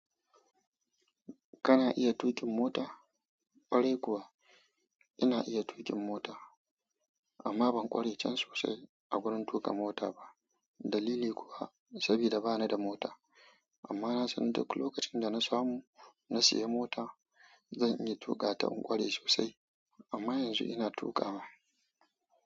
Kana iya tuƙin mota? Ƙwarai kuwa ina iya tuƙin mota, amma ban ƙware can sosai a wurin tuƙa mota ba. Dalili kuwa saboda bani da mota. Amma na san duk lokacin da na samu na sayi mota, zan iya tuƙa ta in ƙware sosai. Amma yanzu ina tuƙawa.